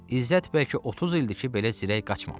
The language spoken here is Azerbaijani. İzzət bəlkə 30 ildir ki, belə zirək qaçmamışdı.